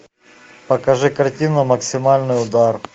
покажи картину максимальный удар